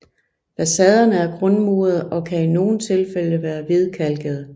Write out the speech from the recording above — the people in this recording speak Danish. Facaderne er grundmurede og kan i nogle tilfælde være hvidkalkede